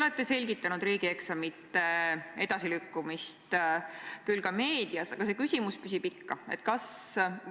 Meie koolid on olnud väga tublid, meie õpetajad on olnud väga tublid, me oleme teinud õigesti, et oleme paigutanud vahendeid e-õppe arendamisse Eestis.